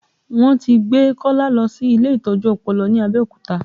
Wọn ti gbé Kọ́lá lọ sí ilé ìtọ́jú ọpọlọ ní Abẹ́òkúta